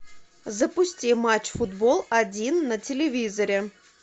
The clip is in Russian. запусти матч футбол один на телевизоре